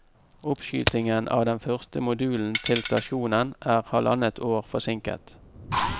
Oppskytingen av den første modulen til stasjonen er halvannet år forsinket.